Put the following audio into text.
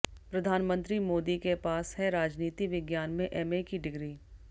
प्रधानमंत्री मोदी के पास है राजनीति विज्ञान में एमए की डिग्री